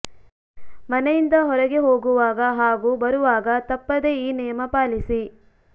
ಮನೆಯಿಂದ ಹೊರಗೆ ಹೋಗುವಾಗ ಹಾಗೂ ಬರುವಾಗ ತಪ್ಪದೇ ಈ ನಿಯಮ ಪಾಲಿಸಿ